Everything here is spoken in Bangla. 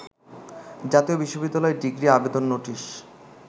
জাতীয় বিশ্ববিদ্যালয় ডিগ্রি আবেদন নোটিশ